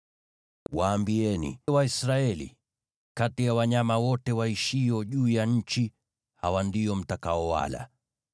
“Waambieni Waisraeli: ‘Kati ya wanyama wote waishio juu ya nchi, hawa ndio mtakaowala: